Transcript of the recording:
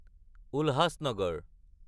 Ulhasnagar